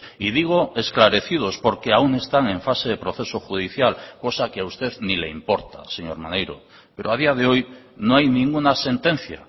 y digo esclarecidos porque aún están en fase de proceso judicial cosa que a usted ni le importa señor maneiro pero a día de hoy no hay ninguna sentencia